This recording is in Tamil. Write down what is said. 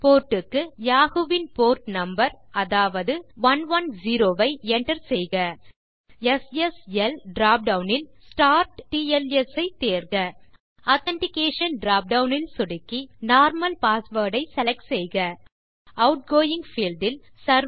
போர்ட் க்கு யாஹூ வின் போர்ட் நம்பர் அதாவது 110 ஐ enter செய்க எஸ்எஸ்எல் drop டவுன் இல்STARTTLS ஐ தேர்க ஆதென்டிகேஷன் drop டவுன் இல் சொடுக்கி நார்மல் பாஸ்வேர்ட் ஐ செலக்ட் செய்க ஆட்கோயிங் பீல்ட் இல்